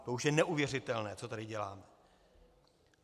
To už je neuvěřitelné, co tady děláme!